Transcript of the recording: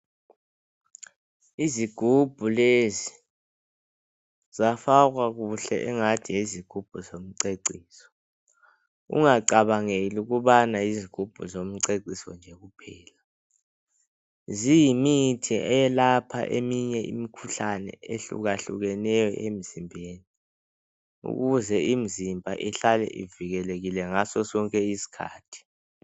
Izigubhu lezi zifakwa kuhle ngathi yizikhumbu zokucecisa ungacabangeli ukubana yizigubhu zokucecisa kuphela ziyimithi eyelapha eminye imikhuhlane ehluka hlukeneyo emzimbeni ukuze imizimba ihlale ivilekekile ngaso sonke isikhathi